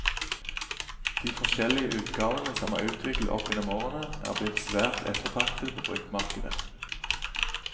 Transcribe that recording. De forskjellige utgavene som er utviklet opp gjennom årene, er blitt svært ettertraktet på bruktmarkedet.